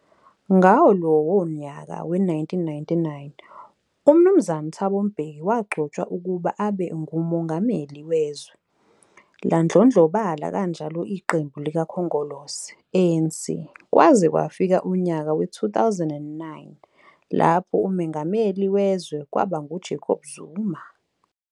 Ngawo lowo nyaka we1999, uMnu Thabo Mbeki wagcotshwa ukuba abe ngumengameli wezwe. Ladlondlobala kanjalo iqembu likakhongolose, ANC, kwaze kwafika unyaka we-2009 lapho umengameli wezwe kwaba nguJacob Zuma.